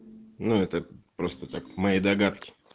ну это просто так мои догадки